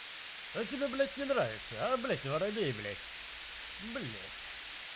а тебе блядь не нравится а блядь воробей блядь блядь